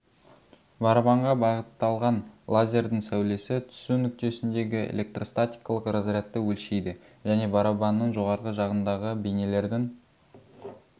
барабанға бағытталған лазердің сәулесі түсу нүктесіндегі электростатикалық разрядты өлшейді және барабанның жоғарғы жағындағы бейнелердің